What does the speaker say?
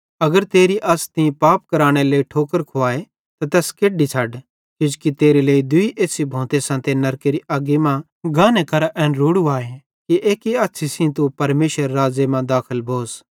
अगर तेरी अछ़ तीं पाप केरनेरे लेइ ठोकर खुवाए त तैस केड्डी छ़ड किजोकि तेरे लेइ दूई एछ़्छ़ी भोंते सांते नरकेरी अग्गी मां छ़ड्डे गाने केरां एन रोड़ू आए कि एक्की अछ़्छ़ी सेइं तू परमेशरेरे राज़्ज़े मां दाखल भोस